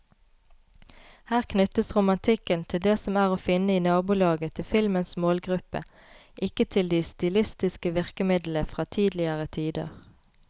Her knyttes romantikken til det som er å finne i nabolaget til filmens målgruppe, ikke til de stilistiske virkemidlene fra tidligere tider.